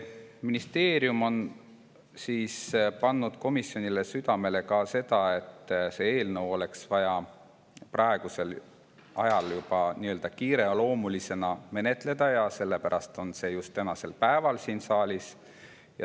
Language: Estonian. Ministeerium on pannud komisjonile südamele, et seda eelnõu oleks praegu vaja juba nii-öelda kiireloomulisena menetleda, ja sellepärast on see just tänasel päeval siin saalis.